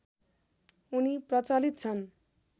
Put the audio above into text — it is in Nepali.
उनी प्रचलित छन्